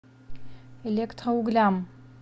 электроуглям